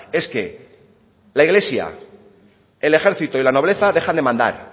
es que la iglesia el ejército y la nobleza dejan de mandar